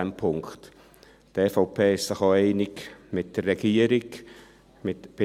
Die EVP ist bei den ersten zwei Punkten auch mit der Regierung einig.